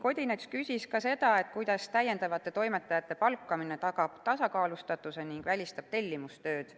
Odinets küsis ka seda, kuidas täiendavate toimetajate palkamine tagab tasakaalustatuse ning välistab tellimustööd.